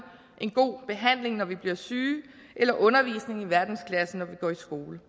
en god behandling når vi bliver syge eller undervisning i verdensklasse når vi går i skole